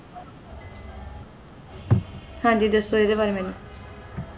ਹਾਂ ਜੀ ਦਸੋ ਈਦੀ ਬਰੀ ਮੇਨੂ